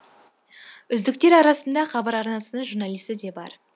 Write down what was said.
үздіктер арасында хабар арнасының журналисі де бар